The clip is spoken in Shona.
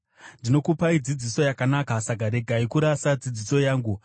Ndinokupai dzidziso yakanaka, saka regai kurasa dzidziso yangu.